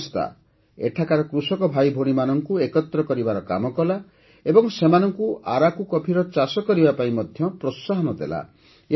ଏହି ସଂସ୍ଥା ଏଠାକାର କୃଷକ ଭାଇଭଉଣୀମାନଙ୍କୁ ଏକତ୍ର କରିବାର କାମ କଲା ଏବଂ ସେମାନଙ୍କୁ ଆରାକୁ କଫିର ଚାଷ କରିବା ପାଇଁ ପ୍ରୋତ୍ସାହନ ଦେଲା